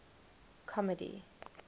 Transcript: comedy